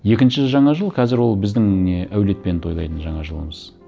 екінші жаңа жыл қазір ол біздің не әулетпен тойлайтын жаңа жылымыз